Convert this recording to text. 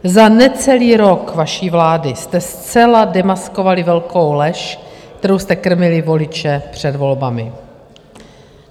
Za necelý rok vaší vlády jste zcela demaskovali velkou lež, kterou jste krmili voliče před volbami.